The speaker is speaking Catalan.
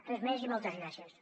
res més i moltes gràcies